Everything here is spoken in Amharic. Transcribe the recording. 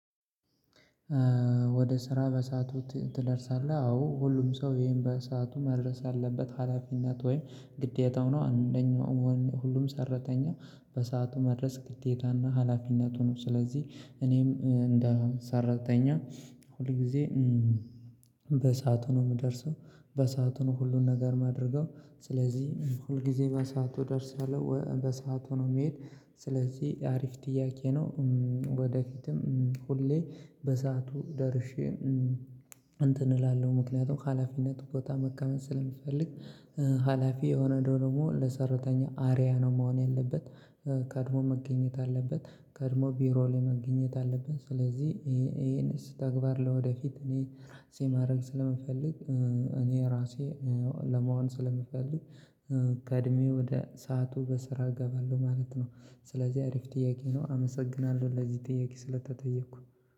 ወደ ስራ በሰአቱ ትደርሳለህ አዎ ሁሉም ሰው ይሄን በሰአቱ መድረስ ያለበት ሀላፊነት ወይ ግዴታው ነው። አንደኛው ሁሉም ሰራተኛው በሰአቱ መድረስ ግዴታና ሀላፊነቱ ነው። ስለዚህ እኔም እንደ ሰራተኛ ሁል ጊዜ በሳቱ ነው የምደርሰው። በሰአቱ ነው ሁሉን ነገር የማደርገው። ስለዚህ ሁል ጊዜ በሰአቱ ደርሳለሁ በሰአቱ ነው መሄድ ስለዚህ አሪፍ ጥያቄ ነው። ወደፊትም ሁሌ በሰአቱ ደርሼ እንትን እላለሁ ምክንያቱም ከሀላፊነት ቦታ መከወን ስለምትፈልግ። ሀላፊ የሆነ ደግሞ ለሰራተኛ አሪያ ነው መሆን ያለበት። ቀድሞ መገኘት አለበት ከድሞ ቢሮ ላይ መገኘት አለበት። ስለዚህ ይሄን ተግባር ለወደፊት እኔ ሲብማድግ ስለምፈልግ። እኔ ራሴ ለመሆን ስለምፈልግ ቀድሜው ወደ ሰዓቱ በስራ እገባለሁ ማለት ነው። ስለዚህ አሪፍ ጥያቄ ነው አመሰግናለሁ ለዚህ ጥያቄ ስለተጠየኩ።